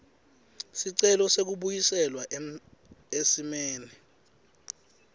sicelo sekubuyiselwa esimeni